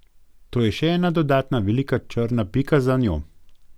To je še ena dodatna velika črna pika za njo.